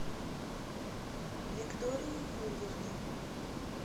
виктории юрьевне